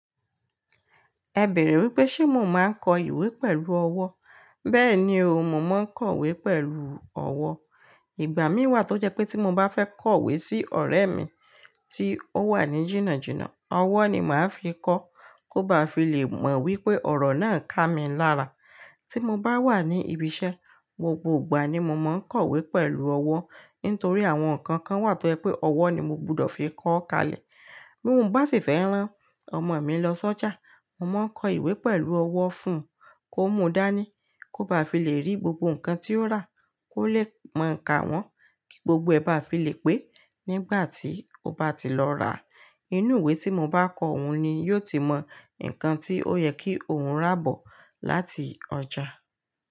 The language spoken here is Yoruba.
Ẹ bèèrè wípé ṣe mo máa ń kọ ìwé pẹ̀lú ọwọ́? Bẹ́ẹ̀ ni o, mo máa ń kọ ìwé pẹ̀lú ọwọ́. Ìgbà mí wà tó jẹ́ pé tí mo bá fẹ́ kọ ìwé sí ọ̀rẹ́ mi tí ó wà ní jìnnàjìnnà, ọwọ́ ni màá fi kọ kó ba fi lè mọ̀ wípé ọ̀rọ̀ náà kà mí lára. Tí mo bá wà ní ibi iṣẹ́, gbogbo ìgbà ni mo máa ń kọ ìwé pẹ̀lú ọwọ́ nítorí àwọn nǹkan kan wà tó jẹ́ pé ọwọ́ ni mo gbúdọ̀ fi kọ ó kalẹ̀. Bí mo bá sì fẹ́ rán ọmọ mi lọ sójà, mo máa ń kọ ìwé pẹ̀lú ọwọ́ fun kó mú dání kó ba fi lè rí gbogbo nǹkan tí ó rà kó lè mọ ka wọn kí gbogbo ẹ ba fi lè pé nígbà tí ó bá ti lọ rà. Inú ìwé tí mo bá kọ òun ni yóò ti mọ nǹkan tí ó yẹ kí òun rà bọ̀ láti ọjà.